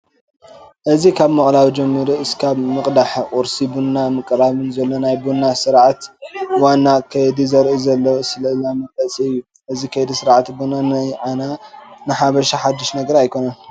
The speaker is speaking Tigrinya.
እዚ ካብ ምቕላው ጀሚሩ እስካብ ምቕዳሕን ቁርሲ ቡና ምቕራብን ዘሎ ናይ ቡና ስርዓት ዋና ከይዲ ዘርኢ ስእላዊ መግለፂ እዩ፡፡ እዚ ከይዲ ስርዓት ቡና ንዓና ንሓበሻ ሓዱሽ ነገር ኣይኮነን፡፡